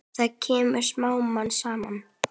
Það kemur smám saman.